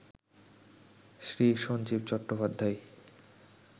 Shri Sanjeev Chattopadhyay